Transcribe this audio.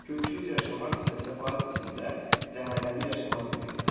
Köksüz yaşamaq isə səfaət içində, cəhənnəmdə yaşamaq deməkdir.